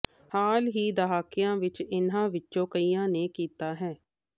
ਹਾਲ ਹੀ ਦਹਾਕਿਆਂ ਵਿੱਚ ਇਹਨਾਂ ਵਿੱਚੋਂ ਕਈਆਂ ਨੇ ਕੀਤਾ ਹੈ